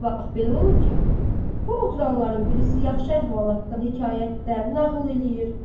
Çox vaxt belə olur ki, bu oturanların birisi yaxşı əhvalatdan, hekayətdən nağıl eləyir.